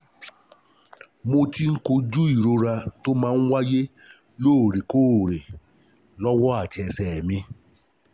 Mo ti ń kojú ìrora tó máa ń wáyé lóòrèkóòrè lọ́wọ́ àti ẹsẹ̀ mi